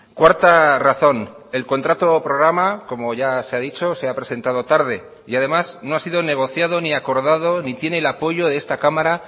cuarta razón el contrato programa como ya se ha dicho se ha presentado tarde y además no ha sido negociado ni acordado ni tiene el apoyo de esta cámara